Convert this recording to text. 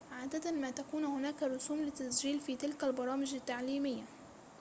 عادة ما تكون هناك رسوم للتسجيل في تلك البرامج التعليمية